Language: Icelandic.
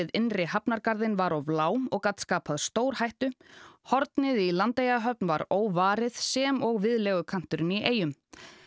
innri hafnargarðinn var of lág og gat skapað stórhættu hornið í Landeyjahöfn var óvarið sem og viðlegukanturinn í eyjum